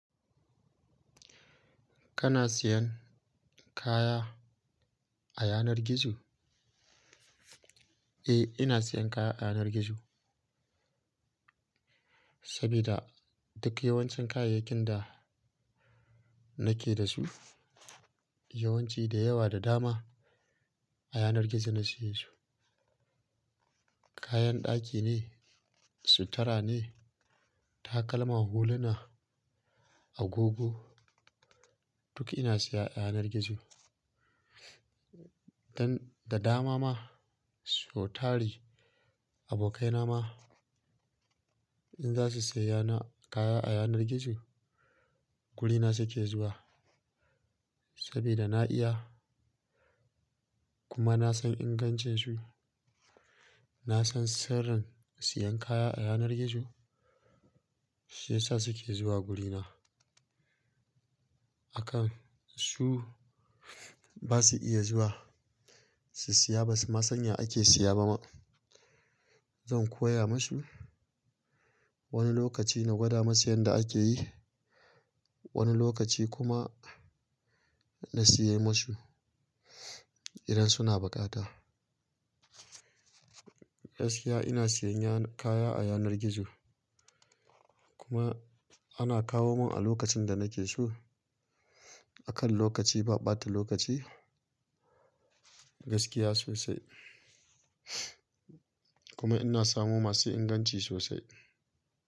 Kana siyan kaya a yanar gizo? Eh, ina siyan kaya a yanar gizo. Sabida duk yawancin kayayyakin da nake da su, yawanci da yawa da dama a yanar gizo na siye su. Kayan ɗaki ne, sutura ne, takalma, huluna, agogo duk ina siya a yanar gizo. Dan da dama ma, so tari, abokaina ma in za su siya na kaya a yanar gizo, gurina su ke zuwa. Sabida na iya kuma na san ingancin su. Na san sirrin siyan kaya a yanar gizo. Shi yasa su ke zuwa gurina. Akan su ba su iya zuwa su siya ba su ma san ya ake siya ba ma. Zan koya mu su. Wani lokaci na gwada masu yanda ake yi, wani lokaci kuma na siya ma su idan suna buƙata. Gaskiya ina siyan yana-- kaya a yanar gizo kuma ana kawo mun a lokacin da nake so. Akan lokaci ba ɓata lokaci. Gaskiya sosai. Kuma ina samo masu inganci sosai.